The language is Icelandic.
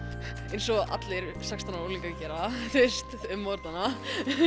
eins og allir sextán ára unglingar gera á morgnana